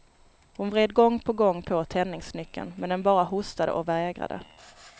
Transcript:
Hon vred gång på gång på tändningsnyckeln men den bara hostade och vägrade.